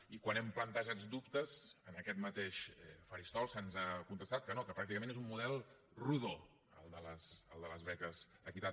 i quan n’hem plantejat dubtes en aquest mateix faristol se’ns ha contestat que no que pràcticament és un model rodó el de les beques equitat